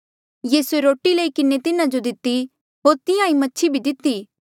यीसूए रोटी लई किन्हें तिन्हा जो दिती होर तिहां ईं मछि भी दिती